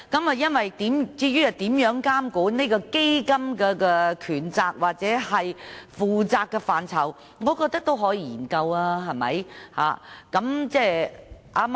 至於如何監管基金的權責或負責範疇，我認為是可以研究的。